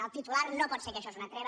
el titular no pot ser que això és una treva